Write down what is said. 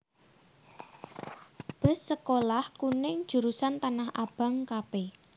Bus Sekolah Kuning Jurusan Tanah Abang Kp